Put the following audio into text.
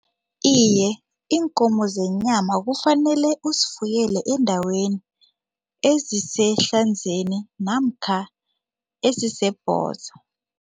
Iye, iinkomo zenyama kufanele uzifuyele eendaweni eziseHlanzeni namkha eziseBhosa.